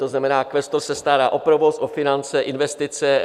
To znamená, kvestor se stará o provoz, o finance, investice.